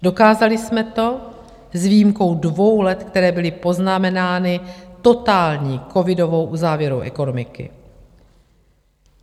Dokázali jsme to s výjimkou dvou let, které byly poznamenány totální covidovou uzávěrou ekonomiky.